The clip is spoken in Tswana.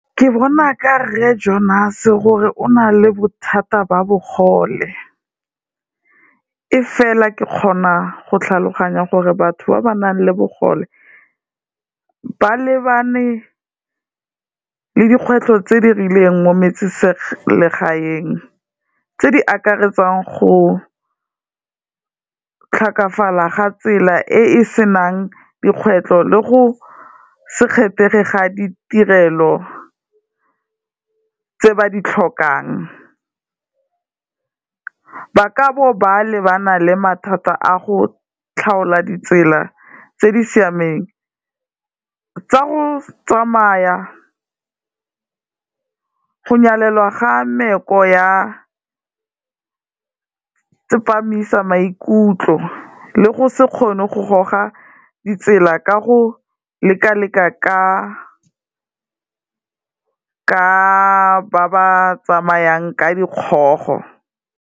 Ke bona ka Rre Johnase gore o na le bothata ba bogole, e fela ke kgona go tlhaloganya gore batho ba ba nang le bogole ba lebane le dikgwetlho tse di rileng mo metseselegaeng, tse di akaretsang go tlhokafala ga tsela e e senang dikgwetlo le go se kgethege ga ditirelo tse ba di tlhokang, ba kabo ba lebana le mathata a go tlhaola ditsela tse di siameng tsa go tsamaya, go nyalelwa ga mmeko ya tsepamisa maikutlo le go se kgone go goga ditsela ka go lekaleka ka ba ba tsamayang ka dikgogo.